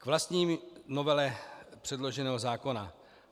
K vlastní novele předloženého zákona.